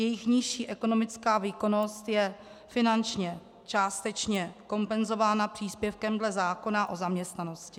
Jejich nižší ekonomická výkonnost je finančně částečně kompenzována příspěvkem dle zákona o zaměstnanosti.